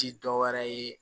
Ti dɔwɛrɛ ye